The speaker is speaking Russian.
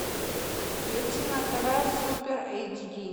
включи на тв супер эйч ди